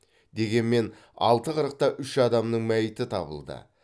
дегенмен алты қырықта үш адамның мәйіті табылды